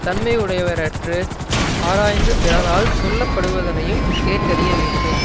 தன்மையுடையவற்று ஆராய்ந்து பிறரால் சொல்லப்படுவதனையும் கேட்டறிய வேண்டும்